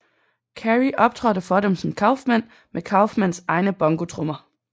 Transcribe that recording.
Carrey optrådte for dem som Kaufman med Kaufmans egne bongotrommer